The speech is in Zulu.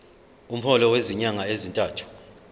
umholo wezinyanga ezintathu